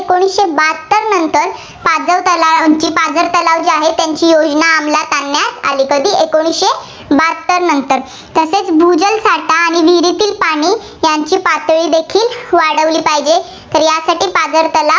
पाझर तलाव पाझर तलाव जे आहेत, त्यांची योजना अंमलात आणण्यात आली एकोणसीशे बहात्तरनंतर. तसेच भूजलसाठा आणि विहिरीतील पाणी यांची पातळीदेखील वाढवली पाहिजे, यासाठी पाझर तलाव